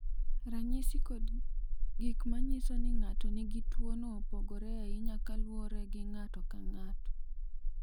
Ranyisi kod gik ma nyiso ni ng’ato nigi tuwono opogore ahinya kaluwore gi ng’ato ka ng’ato.